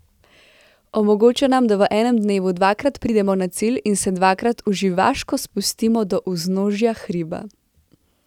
Omogoča nam, da v enem dnevu dvakrat pridemo na cilj in se dvakrat uživaško spustimo do vznožja hriba.